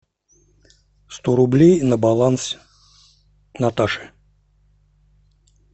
сто рублей на баланс наташи